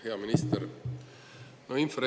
Hea minister!